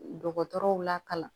Dɔgɔtɔrɔw lakalan